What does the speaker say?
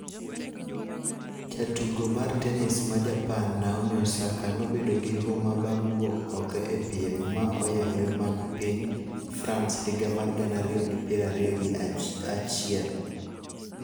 Jatugo mar tenis ma Japan Naomi Osaka nobedo gi huma bang' wuok oko e piem ma oyawre mag piny France higa mar gana ariyo gi piero ariyo gi achiel